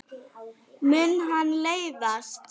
Mun hann meiðast?